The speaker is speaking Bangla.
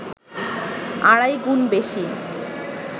আড়াই গুণ বেশি